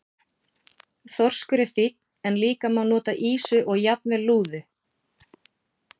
Þorskur er fínn en líka má nota ýsu og jafnvel lúðu.